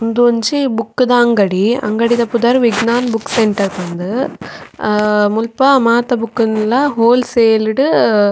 ಉಂದೊಂಜಿ ಬುಕ್ಕ್ ದ ಅಂಗಡಿ ಅಂಗಡಿ ದ ಪುದರ್ ವಿಗ್ನಾನ್ ಬುಕ್ಕ್ ಸೆಂಟರ್ ಪಂದ್ ಅ ಮುಲ್ಪ ಮಾತ ಬುಕ್ಕ್ ನ್ಲ ಹೋಲ್ಸೇಲ್ ಡ್ --